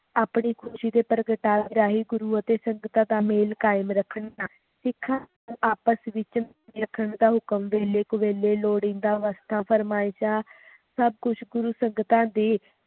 ਆਪਣੀ ਖੁਸ਼ੀ ਦੇ ਪ੍ਰਗਟਾਵੇ ਰਹੀ ਗੁਰੂ ਅਤੇ ਸੰਗਤਾਂ ਦਾ ਮੇਲ ਕਾਇਮ ਰੱਖਣਾ ਸਿਖਾਂ ਦਾ ਆਪਸ ਵਿਚ ਰੱਖਣ ਦਾ ਹੁਕਮ ਵੇਲੇ ਕੁਵੇਲੇ ਲੋੜੀਂਦਾ ਅਵਸਥਾ ਫਰਮਾਇਸ਼ਾਂ ਸਭ ਕੁਛ ਗੁਰੂ ਸੰਗਤਾਂ ਦੇ